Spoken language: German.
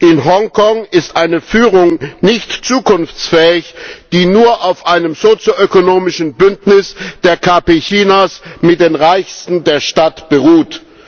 In Hongkong ist eine Führung nicht zukunftsfähig, die nur auf einem sozioökonomischen Bündnis der KP Chinas mit den Reichsten der Stadt beruht.